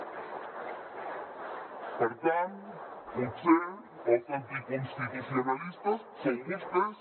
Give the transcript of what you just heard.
per tant potser els anticonstitucionalistes són vostès